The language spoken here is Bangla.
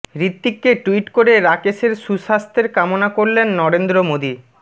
হৃতিককে টুইট করে রাকেশের সুস্বাস্থ্যের কামনা করলেন নরেন্দ্র মোদী